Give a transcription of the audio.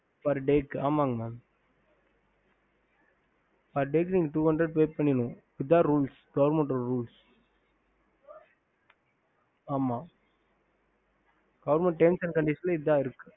ஹம்